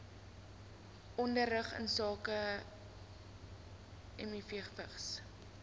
onderrig insake mivvigs